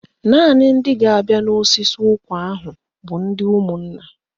Naanị ndị ga-abịa n'osisi ụkwa ahụ bụ ndị ụmụnna